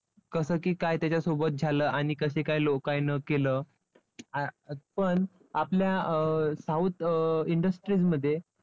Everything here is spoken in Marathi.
कसं की काय त्याच्यासोबत झालं आणि कसे काय लोकाय न केलं. पण आपल्या अं south अं industries मध्ये